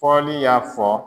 PƆLI y'a fɔ.